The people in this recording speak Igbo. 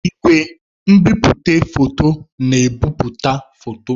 Igwe nbipute foto na-ebipụta foto.